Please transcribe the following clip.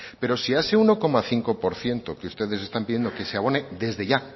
pero si a ese uno coma cinco por ciento que ustedes están pidiendo que se abone desde ya